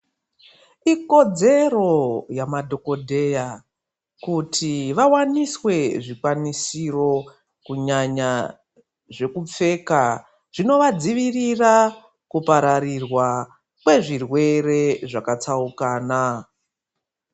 Ikodzero yamadhogodheya kuti vavaniswe zvikwanisiro kunyanya zvekupfeka. Zvinovadzivirira kupararirwa kwezvirwere zvakatsaukana.